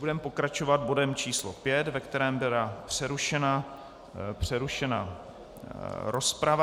Budeme pokračovat bodem číslo 5, ve kterém byla přerušena rozprava.